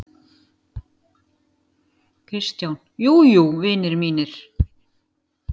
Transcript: KRISTJÁN: Jú, jú, vinir mínir!